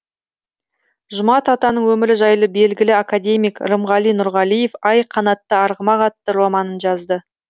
жұмат атаның өмірі жайлы белгілі академик рымғали нұрғалиев ай қанатты арғымақ атты романын жазды